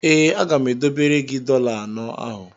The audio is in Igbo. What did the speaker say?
Ee, aga m edobere gị dọla anọ ahụ.